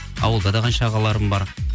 ауылда да қанша ағаларым бар